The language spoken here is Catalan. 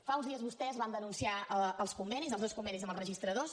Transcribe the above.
fa uns dies vostès van denunciar els convenis els dos convenis amb els registradors